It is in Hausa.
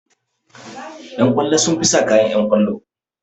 Ƴan kwallo sun fi sa kayan ƴan kwallo